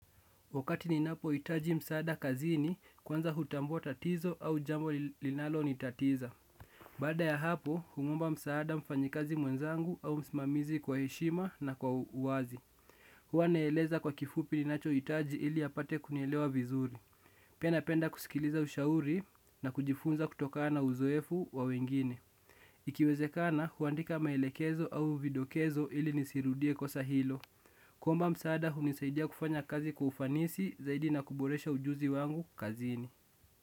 Wakati ni napo itaji msaada kazini, kwanza hutambuwa tatizo au jambo linalo ni tatiza. Bada ya hapo, humwomba msaada mfanyikazi mwenzangu au msimamizi kwa heshima na kwa uwazi. Huwa naeleza kwa kifupi ni nacho itaji ili apate kunielewa vizuri. Pia napenda kusikiliza ushauri na kujifunza kutokana na uzoefu wa wengine. Ikiwezekana, huandika maelekezo au vidokezo ili nisirudie kosa hilo. Kuomba msaada hunisaidia kufanya kazi kwa ufanisi zaidi na kuboresha ujuzi wangu kazini.